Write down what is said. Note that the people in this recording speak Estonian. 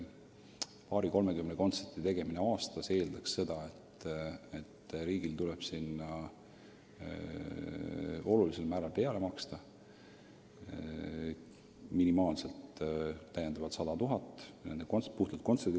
Paari-kolmekümne kontserdi korraldamine aastas eeldaks seda, et riigil tuleb kõvasti peale maksta: puhtalt kontsertide puhul minimaalselt 100 000 eurot.